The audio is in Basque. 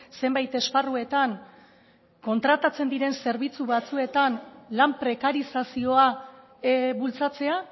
zenbait esparruetan kontratatzen diren zerbitzu batzuetan lan prekarizazioa bultzatzea